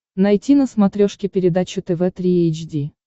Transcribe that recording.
найти на смотрешке передачу тв три эйч ди